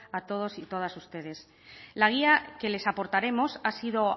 a todos y todas ustedes la guía que les aportaremos ha sido